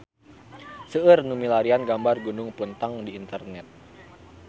Seueur nu milarian gambar Gunung Puntang di internet